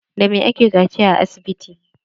Da me ake kaciya a asibiti?